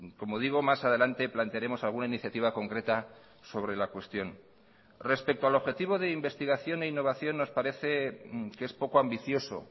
como digo más adelante plantearemos alguna iniciativa concreta sobre la cuestión respecto al objetivo de investigación e innovación nos parece que es poco ambicioso